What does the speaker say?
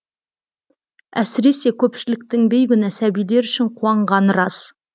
әсіресе көпшіліктің бейкүнә сәбилер үшін қуанғаны рас